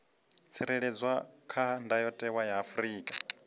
tsireledzwa kha ndayotewa ya afrika